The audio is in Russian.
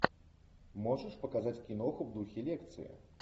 можешь показать киноху в духе лекции